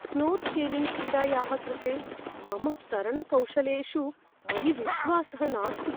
Snorkelling क्रीडायाः कृते मम तरणकौशलेषु मयि विश्वासः नास्ति।